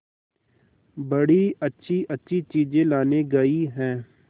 बड़ी अच्छीअच्छी चीजें लाने गई है